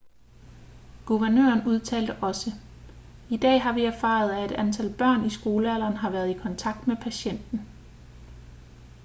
guvernøren udtalte også i dag har vi erfaret at et antal børn i skolealderen har været i kontakt med patienten